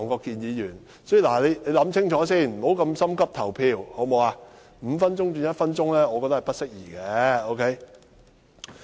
故此我覺得把點名表決鐘聲由5分鐘縮短至1分鐘是不適宜的。